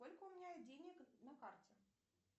сколько у меня денег на карте